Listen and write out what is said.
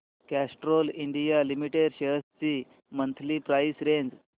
Castrol India limited shares ची monthly price range